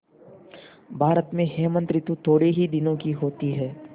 भारत में हेमंत ॠतु थोड़े ही दिनों की होती है